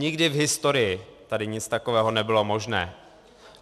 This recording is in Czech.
Nikdy v historii tady nic takového nebylo možné.